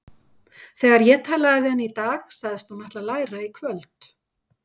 Þegar ég talaði við hana í dag sagðist hún ætla að læra í kvöld.